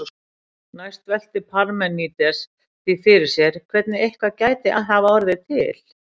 Næst veltir Parmenídes því fyrir sér hvernig eitthvað gæti hafa orðið til.